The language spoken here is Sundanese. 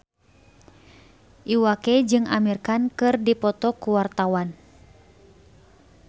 Iwa K jeung Amir Khan keur dipoto ku wartawan